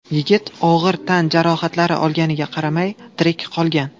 Yigit og‘ir tan jarohatlari olganiga qaramay, tirik qolgan.